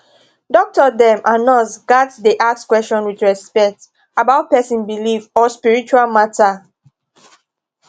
doctor dem and nurse gats dey ask question with respect about person belief or spiritual matter